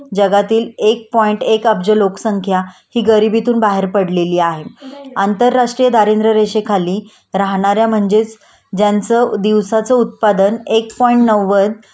जगातील एक पॉईंट एक अब्ज लोकसंख्या हि गरिबीतून बाहेर पडलेली आहे.आंतरराष्ट्रीय दारिद्र्य रेषेखाली राहणाऱ्या म्हणजेच ज्यांचं दिवसाचं उत्पादन एक पॉईंट नव्वद